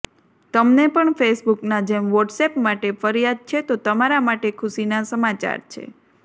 તમને પણ ફેસબુકના જેમ વોટ્સએપ માટે ફરિયાદ છે તો તમારા માટે ખુશીના સમાચાર છે